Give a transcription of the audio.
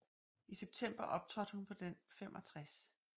I september optrådte hun på den 65